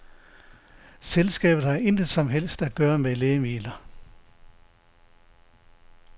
Selskabet har intet som helst at gøre med lægemidler.